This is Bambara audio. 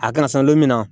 A kana san don min na